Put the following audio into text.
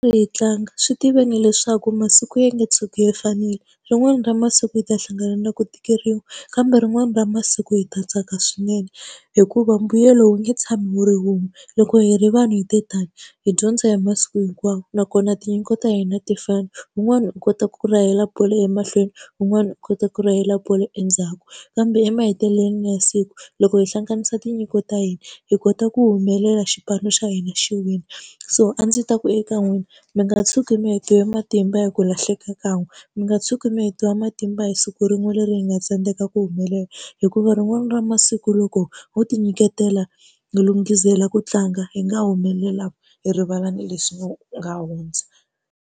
Tlanga swi tiveni leswaku masiku ya nge tshuki ya fanile, rin'wani ra masiku hi ta hlangana na ku tikeriwa kambe rin'wani ra masiku hi ta tsaka swinene hikuva mbuyelo wu nge tshami wu ri wun'we. Loko hi ri vanhu hi te tani hi dyondza hi masiku hinkwawo nakona tinyiko ta hina a ti fani, wun'wani u kota ku rahela bolo emahlweni, wun'wani u kota ku rahela bolo endzhaku, kambe emahetelelweni ya siku loko hi hlanganisa tinyiko ta hina, hi kota ku humelela xipano xa hina xi wina. So a ndzi ta ku eka n'wina mi nga tshuki mi hetiwe matimba hi ku lahleka kan'we, mi nga tshuki mi hetiwa matimba hi siku rin'we leri hi nga tsandzeka ku humelela. Hikuva rin'wana ra masiku loko ho tinyiketela hi lunghisela ku tlanga hi nga humelela hi rivala ni leswi nga hundza.